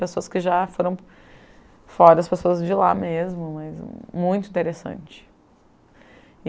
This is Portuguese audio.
Pessoas que já foram fora, as pessoas de lá mesmo, mas muito interessante.